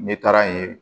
Ne taara yen